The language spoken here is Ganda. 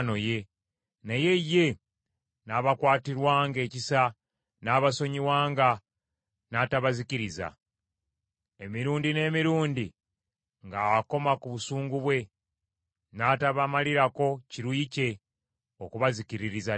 Naye ye n’abakwatirwanga ekisa n’abasonyiwanga, n’atabazikiriza; emirundi n’emirundi ng’akoma ku busungu bwe, n’atabamalirako kiruyi kye okubazikiririza ddala.